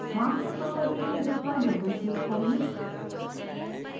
master property table पर double click करें